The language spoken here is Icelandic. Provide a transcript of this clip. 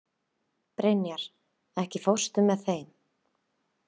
Brynjar, ekki fórstu með þeim?